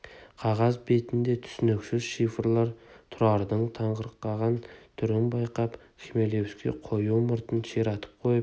қағаз бетінде түсініксіз шифрлар тұрардың таңырқаған түрін байқап хмелевский қою мұртын ширатып қойып